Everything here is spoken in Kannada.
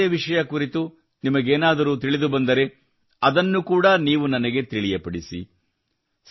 ಬೇರಾವುದೇ ವಿಷಯ ಕುರಿತು ನಿಮಗೇನಾದರೂ ತಿಳಿದುಬಂದರೆ ಅದನ್ನು ಕೂಡಾ ನೀವು ನನಗೆ ತಿಳಿಯಪಡಿಸಿ